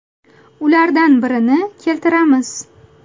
Ulardan birini keltiramiz.